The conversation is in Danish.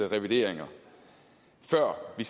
reviderede tal før vi